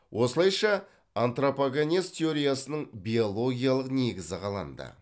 осылайша антропогенез теориясының биологиялық негізі қаланды